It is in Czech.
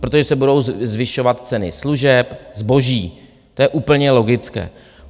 Protože se budou zvyšovat ceny služeb, zboží, to je úplně logické.